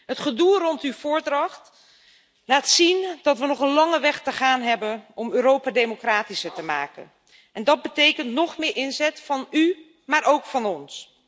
Het gedoe rond uw voordracht laat zien dat we nog een lange weg te gaan hebben om Europa democratischer te maken, en dat betekent nog meer inzet van u, maar ook van ons.